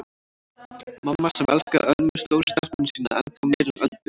Mamma sem elskaði Ölmu stóru stelpuna sína ennþá meira en Öldu.